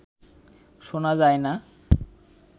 শোনা যায় না